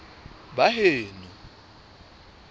baheno